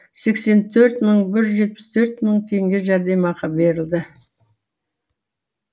сексен төрт мың бір жүз жетпіс төрт мың теңге жәрдемақы берілді